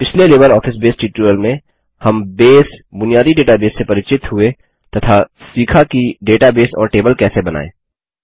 पिछले LibreOffice Base tutorial में हम बेस बुनियादी डेटाबेस से परिचित हुए तथा सीखा कि डेटाबेस और टेबल कैसे बनायें